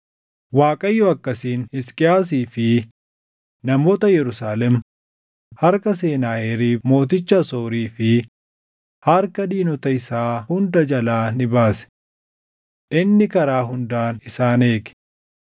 Waaqayyo akkasiin Hisqiyaasii fi namoota Yerusaalem harka Senaaheriib mooticha Asoorii fi harka diinota isaa hundaa jalaa ni baase. Inni karaa hundaan isaan eege.